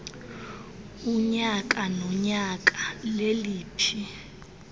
unyaka nonyaka leliphi